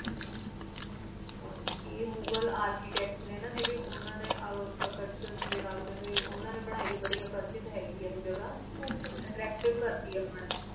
ਹਨ ਜੀ ਆਯ ਮੁਗ੍ਹਰ architect ਜੇਰੀ ਨੀ ਉਨਾ ਨੀ ਅਕ੍ਰ੍ਸ਼ੇਰ ਡੀ ਨਾਲ ਉਖੰਡੀ ਨੀ ਅਕੇਰ੍ਸ਼ੇਡ ਆਯ ਜਗ੍ਹਾ actertive ਕਰਦੀ ਆਯ ਜਗ੍ਹਾ ਆਚਾ ਆਚਾ ਮੁਹੁਲ ਨੂ